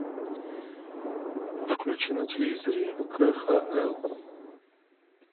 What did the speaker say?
включи на телевизоре кхл